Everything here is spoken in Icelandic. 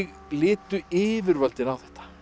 litu yfirvöldin á